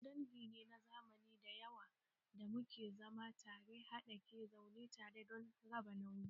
Mu dangi ne na zamani da yawa da muke zama tare ha da ke zaune tare don raba nauyi